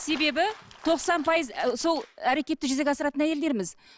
себебі тоқсан пайыз сол әрекетті жүзеге асыратын әйелдерміз